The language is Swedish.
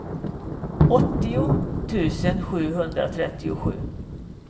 åttio tusen sjuhundratrettiosju